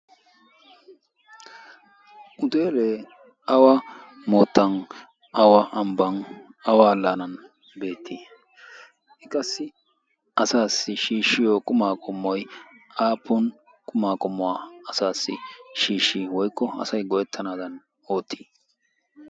uteelee awa moottan awa ambban awa laanan beettii i qassi asaassi shiishshiyo qumaa qomoy aaappon qumaa qomuwaa asaassi shiishshi woykko asay goyettanaadan oottii